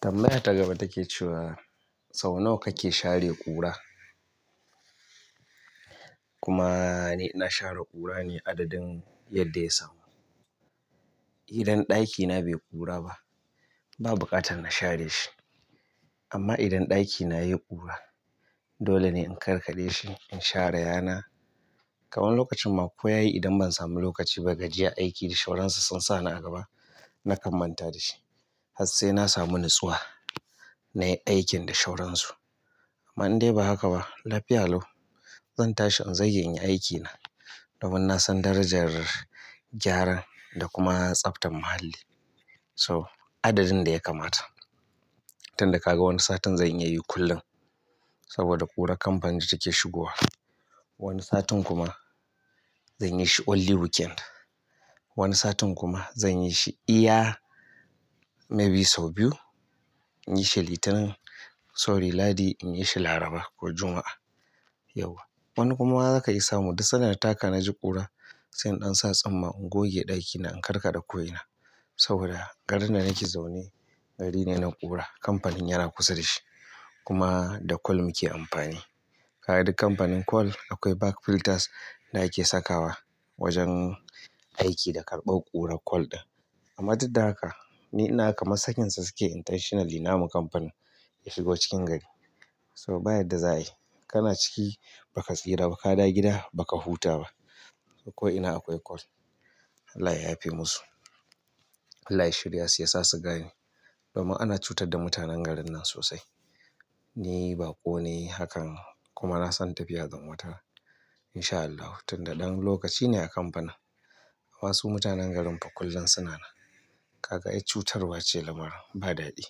Tambaya ta gaba take cewa sau nawa kake share ƙura? Kuma ni ina share ƙura ne adadin yadda ya samu. Idan ɗakina bai ƙura ba, ba buƙatar na share shi. Amma idan ɗakina ya yi ƙura, dole ne in karkaɗe shi, in share yana. Kai wani lokacin ma ko yayi idan ban samu lokaci ba gajiyar aiki da shoransu sun sa ni a gaba, na kan manta da shi. Har sai na samu nutsuwa na yi aikin da shoransu. Amma in dai ba haka ba, lafiya lau. Zan tashi in zage in yi aikina. Domin na san darajar gyara da kuma tsaftar muhalli. To, adadin da ya kamata. Tun da ka ga wani satin zan iya yi kullum. Saboda ƙurar kamfani ce take shigowa. Wani satin kuma zan yi shi only weekend. Wani satin kuma zan yi shi iya maybe sau biyu. In yi shi Litinin, sorry Ladi, in yi shi Laraba ko Juma'a. Yauwa. Wani kuma zaka iya samu, duk sanda na taka na ji ƙura, sai in ɗan sa tsumma in goge ɗakina in karkaɗe ko ina. Saboda garin da nake zaune gari ne na ƙura. Kamfanin yana kusa da shi. Kuma da coal muke amfani. Kaga duk kamfanin coal akwai back filters da ake sakawa wajen aiki da karɓar ƙurar coal din. Amma duk da haka, ni ina ga kamar sakinsa sukeyi intentionally namu kamfanin ya shigo cikin gari. Saboda ba yadda za ayi, kana ciki baka tsira ba, ka dawo gida baka huta ba. Ko'ina akwai coal. Allah ya yafe musu. Allah ya shirya su, ya sa su gane. Domin ana cutar da mutanen garin nan sosai. Ni baƙo ne hakan. Kuma na san tafiya zan wataran. In shaa Allahu tun da dan lokaci ne a kamfanin. Wasu mutanen garin fa kullum suna nan. Kaga ai cutarwa ce lamarin ba daɗi.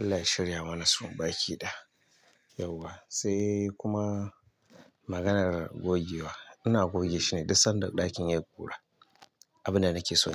Allah ya shirya mana su baki ɗaya. Yauwa, sai kuma maganar gogewa. Ina goge shine duk sanda ɗakin ya yi ƙura. Abinda nake so ne.